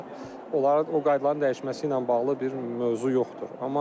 Onların o qaydaların dəyişməsi ilə bağlı bir mövzu yoxdur.